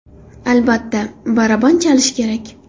Albatta, baraban chalish kerak .